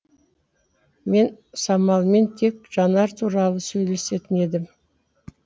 мен самалмен тек жанар туралы сөйлесетін едім